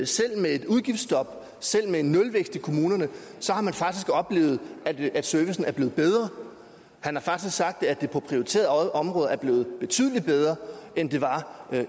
selv med et udgiftsstop selv med en nulvækst i kommunerne har man faktisk oplevet at at servicen er blevet bedre han har faktisk sagt at det på prioriterede områder er blevet betydelig bedre end det var